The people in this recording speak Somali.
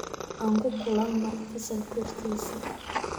Aan ku kulanno fasalka hortiisa